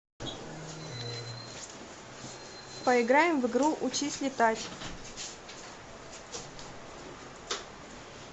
поиграем в игру учись летать